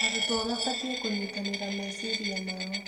Arutwo maabatiĩ kũnyitanĩra meciria mao.